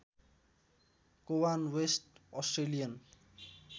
Cowan West Australian